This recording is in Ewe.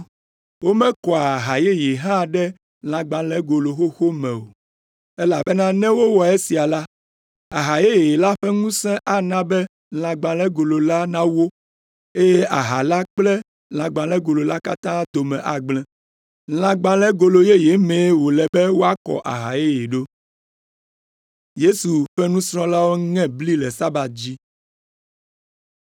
Womekɔa aha yeye hã ɖe lãgbalẽgolo xoxo me o, elabena ne wowɔ esia la, aha yeye la ƒe ŋusẽ ana be lãgbalẽgolo la nawó, eye aha la kple lãgbalẽgolo la katã dome agblẽ. Lãgbalẽgolo yeye mee wòle be woakɔ aha yeye ɖo.”